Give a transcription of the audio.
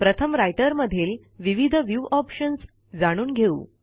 प्रथम रायटर मधील विविध व्ह्यू ऑप्शन्स जाणून घेऊ